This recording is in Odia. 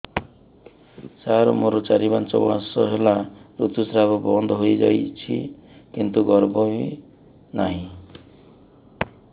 ସାର ମୋର ଚାରି ପାଞ୍ଚ ମାସ ହେଲା ଋତୁସ୍ରାବ ବନ୍ଦ ହେଇଯାଇଛି କିନ୍ତୁ ଗର୍ଭ ବି ନାହିଁ